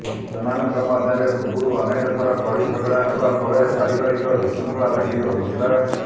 ସେମାନଙ୍କ ମଧ୍ୟରେ ପୂର୍ବରୁ ଅନେକ ଥର କଳି ଝଗଡ଼ା ହେବା ଫଳରେ ପାରିବାରିକ ବିଶୃଙ୍ଖଳା ଲାଗି ରହୁଥିଲା